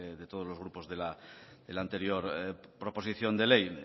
de todos los grupos de la anterior proposición de ley